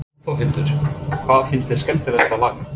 Þórhildur: Hvað finnst þér skemmtilegast að læra?